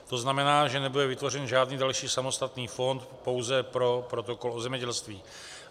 To znamená, že nebude vytvořen žádný další samostatný fond, pouze pro protokol o zemědělství.